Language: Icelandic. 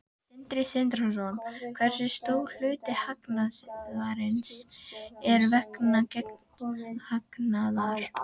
Sindri Sindrason: Hversu stór hluti hagnaðarins er vegna gengishagnaðar?